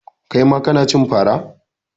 Kai ma kana cin fara?